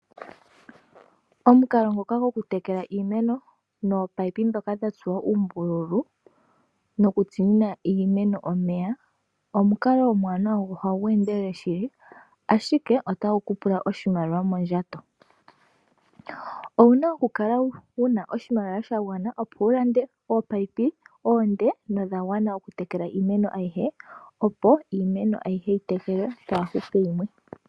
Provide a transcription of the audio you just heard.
Omukalo ngoka goku tekela nliimeno nominino ndhoka dha tsuwa uumbululu nokutsinina iimeno omeya omukalo omuwanawa go ohagu endelele shili ashike otagu kupula oshimaliwa mondjato. Owuna okukala wuna oshimaliwa shagwana opo wulande ominino oonde nodha gwana okutekela iimeno ayihe opo iimeno ayihe yi tekelwe kaapu hupe yimwe.